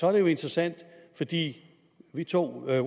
er det jo interessant fordi vi to